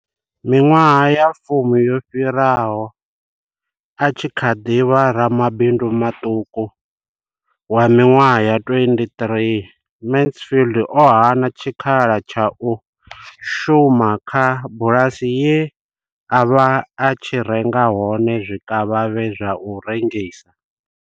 Miṅwaha ya fumi yo fhiraho, a tshi kha ḓi vha ramabindu maṱuku wa miṅwaha ya 23, Mansfield o hana tshikhala tsha u shuma kha bulasi ye a vha a tshi renga hone zwikavhavhe zwa u rengisa.